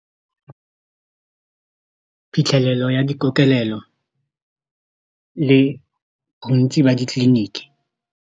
Phitlhelelo ya dikokelelo le bontsi ba ditleliniki.